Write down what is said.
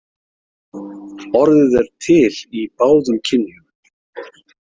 Orðið er til í báðum kynjum.